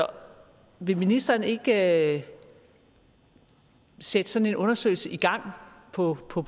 vil ministeren ikke sætte sådan en undersøgelse i gang på på